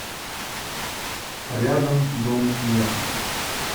рядом дом меха